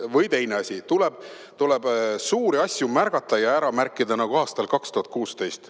Või teine asi: tuleb suuri asju märgata ja ära märkida, nagu aastal 2016.